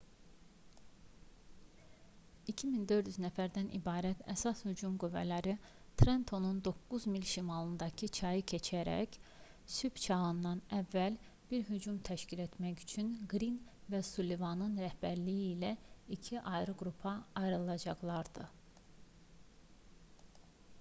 2400 nəfərdən ibarət əsas hücum qüvvələri trentonun 9 mil şimalındakı çayı keçərək sübh çağından əvvəl bir hücum təşkil etmək üçün qrin və sullivanın rəhbərliyi ilə iki ayrı qrupa ayrılacaqlardı